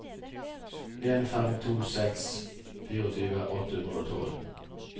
en fem to seks tjuefire åtte hundre og tolv